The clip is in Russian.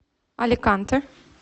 аликанте